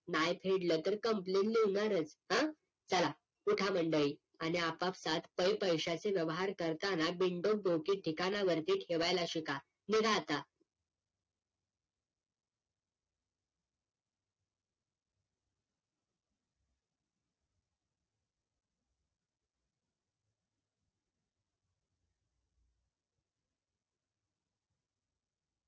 न्याही फेडलं तर complain लिव्हणारच हं चला उठा मंडळी आणि आपापसात काही पैशाचे व्यवहार करताना विंडोक डोके ठिकाणावरती ठेवायला शिका निघा आता